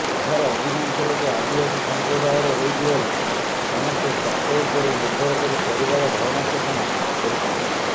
ଏଠାରେ ଅଧିକାଂଶ ଲୋକ ଆଦିବାସୀ ସଂପ୍ରଦାୟର ହୋଇଥିବାରୁ ସମସ୍ତେ ଚାଷ ଉପରେ ନିର୍ଭର କରି ପରିବାର ଭରଣପୋଷଣ କରୁଛନ୍ତି